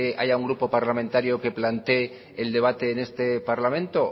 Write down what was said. haya un grupo parlamentario que plantee el debate en este parlamento